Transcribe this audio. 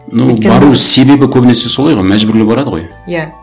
ну бару себебі көбінесе солай ғой мәжбүрлі барады ғой иә